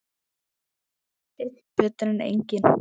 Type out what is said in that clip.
Einn er betri en enginn!